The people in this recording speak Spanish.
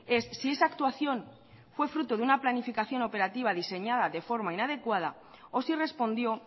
es si esa actuación fue fruto de una planificación operativa diseñada de forma inadecuada o si respondió